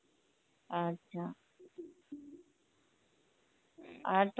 আচ্ছা আর